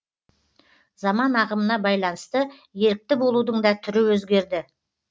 заман ағымына байланысты ерікті болудың да түрі өзгерді